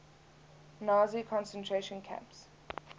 nazi concentration camps